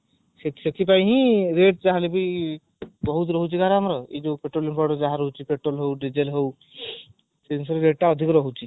ସେଥିପାଇଁ ହିଁ rate ଯାହାହେଲେ ବି ବହୁତ ରହୁଛି ଯାହାହେଲେ ବି ଆମର ପେଟ୍ରୋଲ rate ଯାହା ବି ରହୁଛି ପେଟ୍ରୋଲ ହଉ ଡିଜେଲ ହଉ ସେସବୁ rate ଟା ଅଧିକ ରହୁଛି